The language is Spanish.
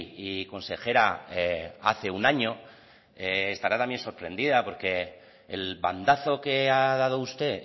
y consejera hace un año estará también sorprendida porque el bandazo que ha dado usted